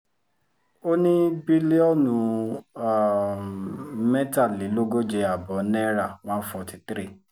ó ní bílíọ̀nù um mẹ́tàlélógóje ààbọ̀ náírà one forty three